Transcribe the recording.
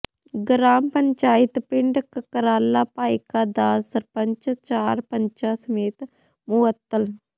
ਗਰਾਮ ਪੰਚਾਇਤ ਪਿੰਡ ਕਕਰਾਲਾ ਭਾਈਕਾ ਦਾ ਸਰਪੰਚ ਚਾਰ ਪੰਚਾਂ ਸਮੇਤ ਮੁਅੱਤਲ